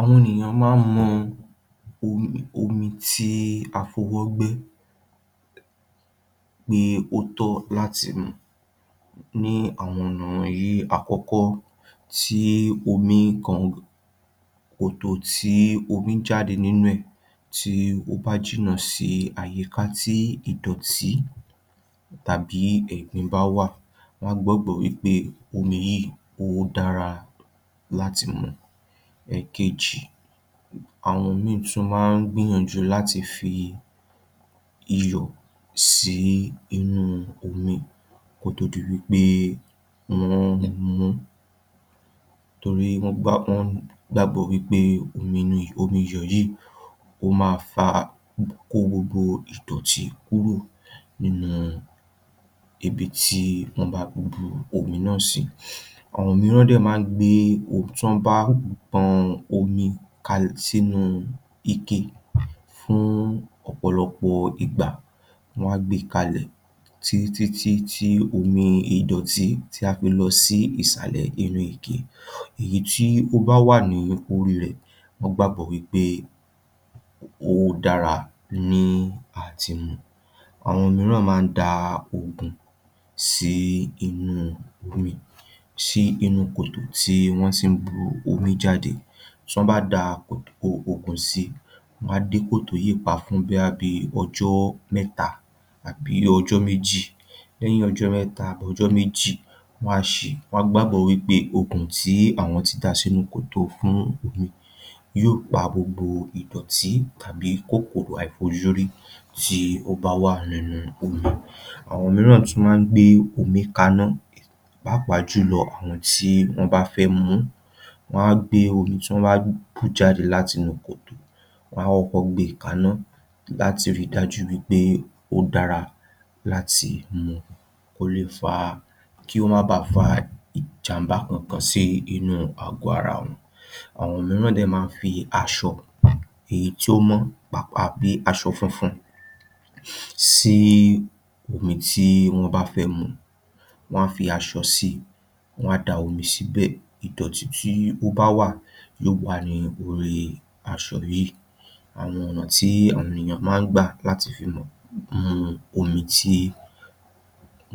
Àwọn ènìyàn máa ń mọ omi, omi tí a f'owó gbé pé ó tọ́ láti mù ní àwọn ọ̀nà wọ̀nyí. Àkọ́kọ́, tí omi kàn, kòtò tí omi jáde nínú rẹ̀, tí ó bá jìná sí àyíká tí ìdọ̀tí tàbí ẹ̀gbin bá wà, má gbàgbọ́ wí pé omi yìí kò dara láti mù. Èkejì, àwọn mìíràn tún máa ń gbìyànjú láti fi iyọ̀ sí inú omi, kó tó di wí pé wọ́n mú un torí wọn gbàgbọ́ wí pé omi iyọ̀ yìí ó máa fà, kó gbogbo ìdọ̀tí kúrò nínú ibi tí wọ́n bá gbùgbó omi náà sí. Àwọn mìíràn náà máa ń gbé omi tí wọ́n bá pọn omi kalẹ̀ sínú ìkè fún ọ̀pọ̀lọpọ̀ ìgbà, wọ́n á gbé kalẹ̀ títí, títí, títí, títí omi ìdọ̀tí tí a fi lọ sí ìsàlẹ̀ inú ìkè. Ẹni tí ó bá wà ní oríire, wọ́n gbàgbọ́ wí pé ó dara ni láti mù. Àwọn mìíràn máa ń da ògùn sínú omi, sínú kòtò tí wọ́n ti ń bu omi jáde. Tí wọ́n bá da ògùn sí, wọ́n á dé kòtò yẹpẹ̀ fún un bí ọjọ́ mẹ́ta àbí ọjọ́ méjì. Lẹ́yìn ọjọ́ mẹ́ta tàbí ọjọ́ méjì, wọ́n á ṣí, wọ́n gbàgbọ́ wí pé ògùn tí wọ́n ti da sínú kòtò fún omi yó pa gbogbo ìdọ̀tí tàbí kókòrò àìfojúrí tí ó bá wà nínú omi. Àwọn mìíràn tún máa ń gbé omi kànná, pàápàá jùlọ àwọn tí wọ́n bá fẹ́ mú un, wọ́n á gbé omi tó ń bọ jáde láti inú kòtò, wọ́n á kọ̀kọ́ gbé kànná láti rí dájú wí pé ó dára láti mù. Kó leè yọrí sí ìjambá ẹ̀sùn kan sí inú àgọ ara wọ́n. Àwọn mìíràn náà máa ń fi aṣọ, èyí tí ó mọ́, pàápàá bí aṣọ funfun, sí omi tí wọ́n bá fẹ́ mú. Wọ́n á fi aṣọ sí, wọ́n á dá omi síbẹ̀; ìdọ̀tí tí ó bá wà yó wà lórí aṣọ yìí. Àwọn ọ̀nà tí àwọn ènìyàn máa ń gba láti fi mù omi tí